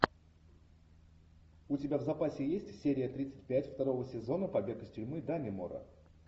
у тебя в запасе есть серия тридцать пять второго сезона побег из тюрьмы даннемора